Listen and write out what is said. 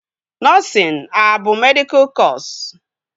Nọsịn a bụ medịkal kọsu?